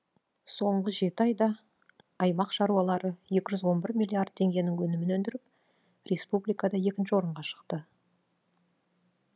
соңғы жеті айда аймақ шаруалары екі жүз он бір миллиард теңгенің өнімін өндіріп республикада екінші орынға шықты